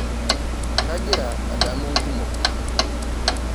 Kagira adamu nkumok.